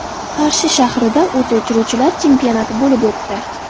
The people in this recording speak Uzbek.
Qarshi shahrida o‘t o‘chiruvchilar chempionati bo‘lib o‘tdi.